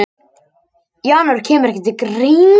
Janúar kemur ekki til greina.